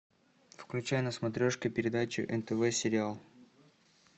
включай на смотрешке передачу нтв сериал